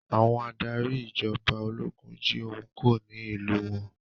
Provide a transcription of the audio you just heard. Àwọn adarí ìjọba ológun jí ohun kó ní ìlú wọn.